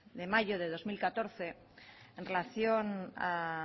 de mayo del dos mil catorce en relación a